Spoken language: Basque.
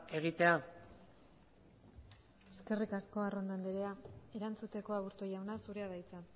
egitea eskerrik asko arrondo andrea erantzuteko aburto jauna zurea da hitza